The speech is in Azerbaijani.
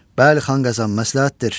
Bəli, xan Qazan, məsləhətdir.